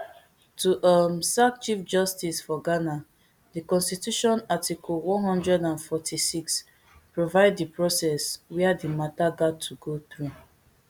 to um sack chief justice for ghana di constitution article one hundred and forty-six provide di process wia di mata gat to go through